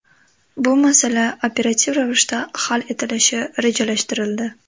Bu masala operativ ravishda hal etilishi rejalashtirildi.